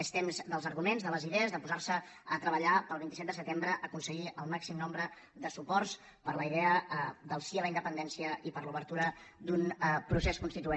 és temps dels arguments de les idees de posar se a treballar per el vint set de setembre aconseguir el màxim nombre de suports per a la idea del sí a la independència i per a l’obertura d’un procés constituent